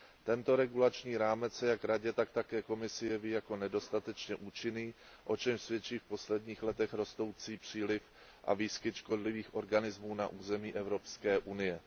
Tento regulační rámec se jak Radě, tak také Komisi jeví jako nedostatečně účinný, o čemž svědčí v posledních letech rostoucí příliv a výskyt škodlivých organismů na území Evropské unie.